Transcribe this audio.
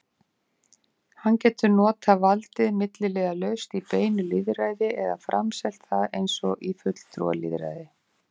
Hann getur notað valdið milliliðalaust í beinu lýðræði eða framselt það eins og í fulltrúalýðræði.